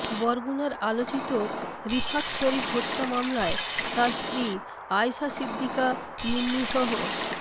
বরগুনার আলোচিত রিফাত শরীফ হত্যা মামলায় তার স্ত্রী আয়শা সিদ্দিকা মিন্নিসহ